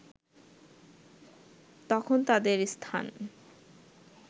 তখন তাদের স্থান